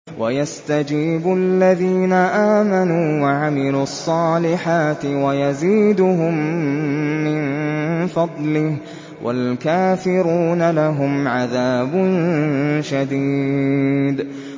وَيَسْتَجِيبُ الَّذِينَ آمَنُوا وَعَمِلُوا الصَّالِحَاتِ وَيَزِيدُهُم مِّن فَضْلِهِ ۚ وَالْكَافِرُونَ لَهُمْ عَذَابٌ شَدِيدٌ